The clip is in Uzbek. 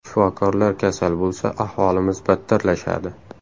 Shifokorlar kasal bo‘lsa, ahvolimiz battarlashadi.